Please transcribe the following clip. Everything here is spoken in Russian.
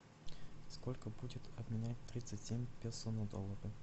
сколько будет обменять тридцать семь песо на доллары